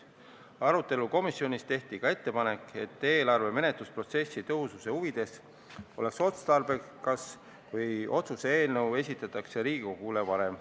Komisjoni arutelu käigus tehti ka ettepanek, et eelarve menetlusprotsessi tõhususe huvides oleks otstarbekas, kui otsuse eelnõu esitataks Riigikogule varem.